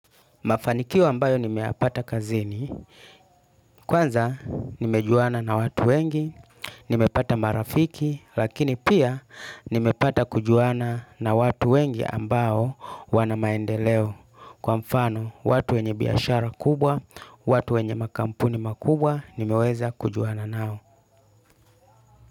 Mafanikio ambayo nimeyapata kazini, kwanza nimejuana na watu wengi, nimepata marafiki, lakini pia nimepata kujuana na watu wengi ambao wana maendeleo, kwa mfano watu wenye biashara kubwa, watu wenye makampuni makubwa, nimeweza kujuana nao.